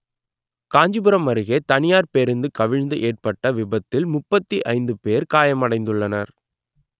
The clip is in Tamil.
காஞ்சிபுரம் அருகே தனியார் பேருந்து கவிழ்ந்து ஏற்பட்ட விபத்தில் முப்பத்தி ஐந்து பேர் காயமடைந்துள்ளனர்